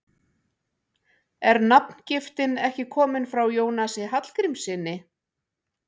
Er nafngiftin ekki komin frá Jónasi Hallgrímssyni?